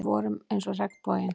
Við vorum eins og regnboginn.